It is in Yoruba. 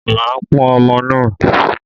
Màá pọn ọmọ náà.